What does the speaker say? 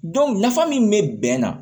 nafa min be bɛn na